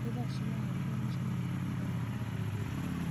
nĩ thaa cigana rĩrĩa mũcemanio wa mũthenya wa mwambĩrĩrio ũkambia